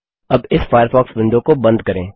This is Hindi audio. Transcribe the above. अब इस फ़ायरफ़ॉक्स विंडो को बंद करें